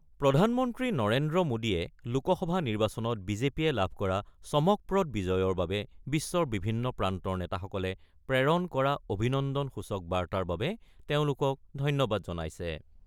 প্ৰধানমন্ত্ৰী নৰেন্দ্ৰ মোদীয়ে লোকসভা নিৰ্বাচনত বিজেপিয়ে লাভ কৰা চমকপ্ৰদ বিজয়ৰ বাবে বিশ্বৰ বিভিন্ন প্ৰান্তৰ নেতাসকলে প্ৰেৰণ কৰা অভিনন্দনসূচক বাৰ্তাৰ বাবে তেওঁলোকক ধন্যবাদ জনাইছে।